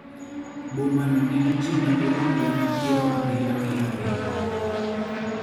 Boma no nigi ji madirom gana piero abiriyo gi abiriyo.